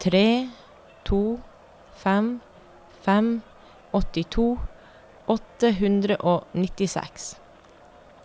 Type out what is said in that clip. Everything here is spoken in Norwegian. tre to fem fem åttito åtte hundre og nittiseks